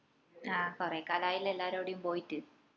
ആ കൊറേ കാലായില്ലേ എല്ലാറോടും കൂടി ഒന്ന് പൊയിട്ട്